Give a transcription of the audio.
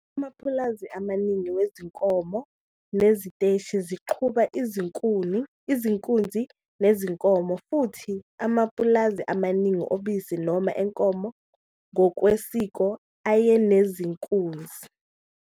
Amapulazi amaningi wezinkomo neziteshi ziqhuba izinkunzi nezinkomo, futhi amapulazi amaningi obisi noma enkomo ngokwesiko ayenezinkunzi